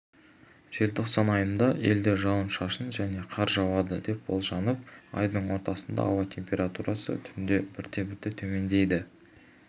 желтоқсан айында елде жауын-шашын және қар жауады деп болжанып айдың ортасында ауа температурасы түнде бірте-бірте төмендейді